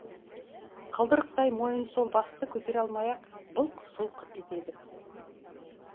қылдырықтай мойын сол басты көтере алмай былқ сылқ етеді